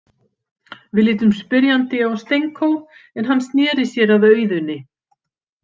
Við litum spyrjandi á Stenko, en hann sneri sér að Auðuni.